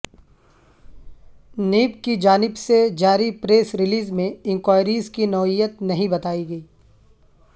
NAB کی جانب سے جاری پریس ریلیز میں انکوائریز کی نوعیت نہیں بتائی گئی